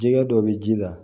Jɛgɛ dɔ bɛ ji la